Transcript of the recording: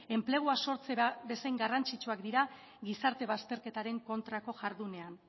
enpleguak sartzera bezain garrantzitsuak dira gizarte bazterketaren kontrako jardunean